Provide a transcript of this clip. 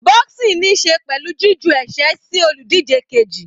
Boxing níí ṣe pẹ̀lú jí ju ẹ̀sẹ́ sí olùdíje keji.